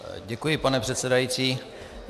Děkuji, pane předsedající.